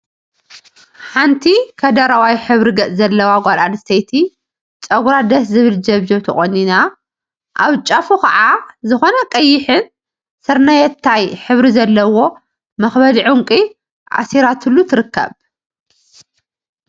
ሓንቲ ከደረዋይ ሕብሪ ገፅ ዘለዋ ጓል እንስተይቲ ፀጉራ ደስ ዝብል ጀብጀብ ተቆኒና አብ ጫፉ ከዓ ዝኮነ ቀይሕን ስርናየታይ ሕብሪ ዘለዎም መክበዲ ዕንቍ አሲራትሉ ትርከብ፡፡